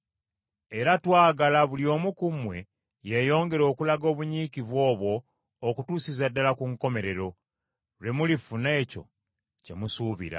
Era twagala buli omu ku mmwe yeeyongere okulaganga obunyiikivu obwo okutuusiza ddala ku nkomerero, lwe mulifuna ekyo kye musuubira.